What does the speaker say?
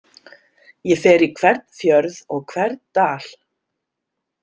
Ég fer í hvern fjörð og hvern dal.